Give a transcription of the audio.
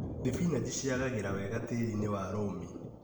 Thibinanji ciagagĩra wega tĩriinĩ wa rũmi.